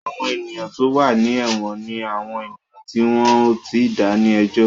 Àwọn ènìyàn tó wà ní èwọ̀n ni àwọn ènìyàn tí wọ́n ò tíì dá ní ẹjọ́